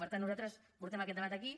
per tant nosaltres portem aquest debat aquí